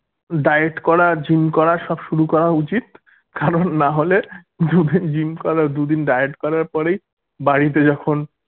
diet করা gym করা সব শুরু করা উচিত কারণ নাহলে দুদিন gym করে দুদিন diet করার পরেই বাড়িতে যখন